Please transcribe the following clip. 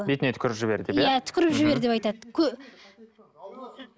бетіне түкіріп жібер деп иә түкіріп жібер деп айтады